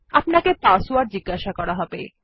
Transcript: আপানকে password জিজ্ঞাসা করা হবে